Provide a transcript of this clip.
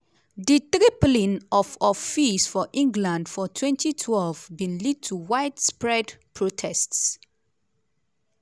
di tripling of of fees for england for 2012 bin lead to widespread protests.